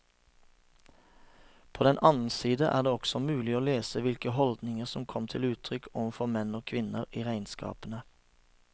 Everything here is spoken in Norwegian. På den annen side er det også mulig å lese hvilke holdninger som kom til uttrykk overfor menn og kvinner i regnskapene.